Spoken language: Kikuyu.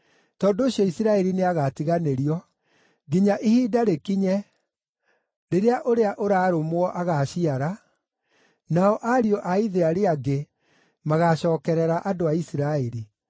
Tondũ ũcio, Isiraeli nĩagatiganĩrio nginya ihinda rĩkinye, rĩrĩa ũrĩa ũraarũmwo agaaciara, nao ariũ-a-ithe arĩa angĩ magaacookerera andũ a Isiraeli.